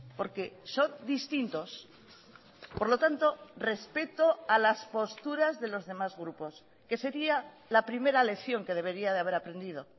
porque son distintos por lo tanto respeto a las posturas de los demás grupos que sería la primera lección que debería de haber aprendido